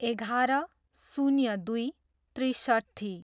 एघार, शून्य दुई, त्रिसट्ठी